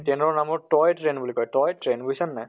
train নাম হʼল toy train বুলি কয়, toy train বুজিছা নে নাই?